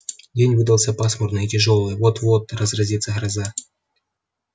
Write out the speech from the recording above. день выдался пасмурный и тяжёлый вот-вот разразится гроза